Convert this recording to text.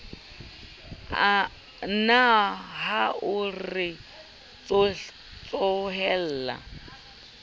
na ha o re tsohella